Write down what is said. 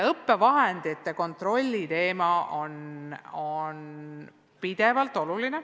Õppevahendite kontrolli teema on kogu aeg oluline.